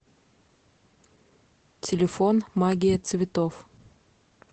телефон магия цветов